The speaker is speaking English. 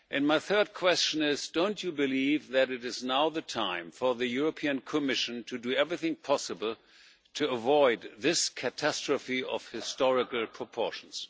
My third question is do you not believe that it is now the time for the European Commission to do everything possible to avoid this catastrophe of historical proportions?